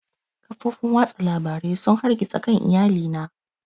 Kafofin watsa labarai sun hargitsa kan iyali na